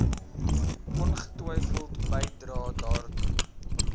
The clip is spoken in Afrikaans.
ongetwyfeld bydrae daartoe